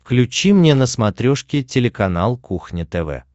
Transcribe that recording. включи мне на смотрешке телеканал кухня тв